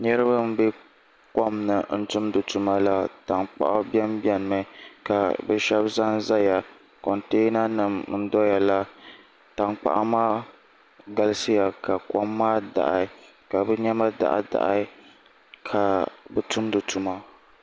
Niraba n bɛ kom ni n tumdi tuma na tankpaɣu biɛni biɛni mi ka bi shab ʒɛnʒɛya kontɛna nim n doya la tankpaɣu maa galisiya ka kom maa daɣi ka bi niɛma daɣi daɣi ka bi tumdi tuma